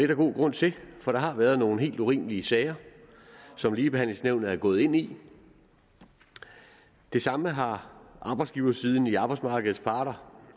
der god grund til for der har været nogle helt urimelige sager som ligebehandlingsnævnet er gået ind i det samme har arbejdsgiversiden blandt arbejdsmarkedets parter